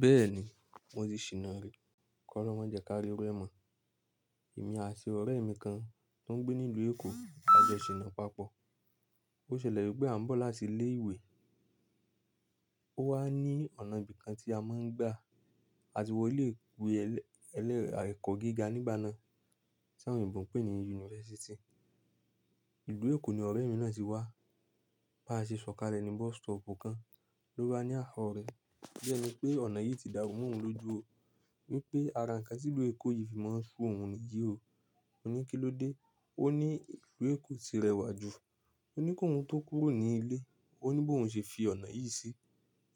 Bẹ́ẹ̀ni, mo ti ṣìnà rí. Kọ́lòún mọ jẹ ká rí irú ẹ́ mọ̀. Èmi àti ọ̀rẹ́ mi kan, tó ń gbé nílù, èkó lajọ ṣìnà papọ̀. Ó ṣẹlẹ̀ wípé à ń bọ̀ láti ilé ìwé. Ó wá ní ọ̀nà ibi kan tí a máa ń gbà, àti wọlé ìwé ẹ̀kọ́ gíga nígbà náà, tí àwọn èébó ń pè ní yunifásítì. Ìlú Èkó ni ọ̀rẹ́ mi náà ti wá. Bá ṣe ṣọ̀kalẹ̀ ní bọ́sítọ̀ọ̀pù kan, ló bá ní àá ọ̀rẹ́. Bí ẹni pé ọ̀nà yìí ti dàrú mọ́ òun lójú o. Wípé ara ǹkan tílùú Èkó yìí fi máa ń ṣú òun nìyí o. Mó ní kí ló dé? Ó ní ìlú Èkó ti rẹwà jù. Ó ní kó òun tó kúrò ní ilé. Ó ní bó òun ṣe fi ọ̀nà yìí sí.